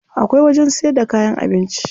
Akwai wajen siyar da kayan abinci.